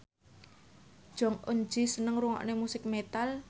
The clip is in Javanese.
Jong Eun Ji seneng ngrungokne musik metal